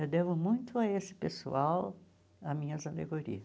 Eu devo muito a esse pessoal a minhas alegoria.